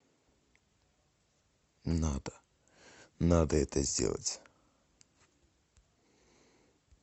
надо надо это сделать